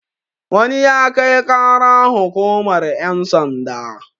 wani ya Kai ƙara hukumar yansanda